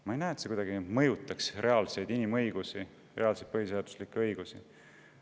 Ma ei näe, et see kuidagi mõjutaks reaalseid inimõigusi, reaalseid põhiseaduslikke õigusi.